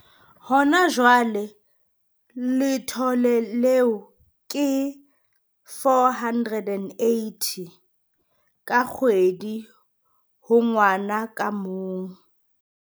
Ha jwale letlole leo ke R480 ka kgwedi ho ngwana ka mong.